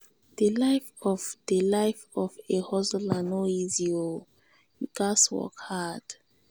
di life of di life of a hustler no easy o you gats work hard.